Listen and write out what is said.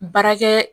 Baarakɛ